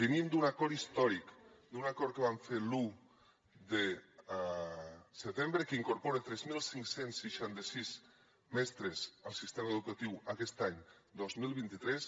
venim d’un acord històric d’un acord que vam fer l’un de setembre que incorpora tres mil cinc cents i seixanta sis mestres al sistema educatiu aquest any dos mil vint tres